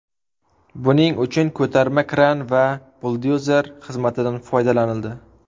Buning uchun ko‘tarma kran va buldozerlar xizmatidan foydalanildi.